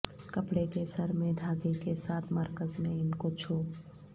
کپڑے کے سر میں دھاگے کے ساتھ مرکز میں ان کو چھو